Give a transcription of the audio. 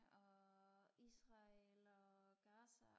og øh israel og gaza